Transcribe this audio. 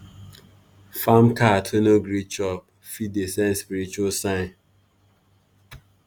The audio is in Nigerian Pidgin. farm cat wey no gree chop fit dey send spiritual sign.